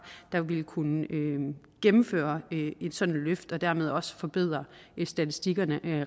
der ville kunne gennemføre et sådant løft og dermed også forbedre statistikkerne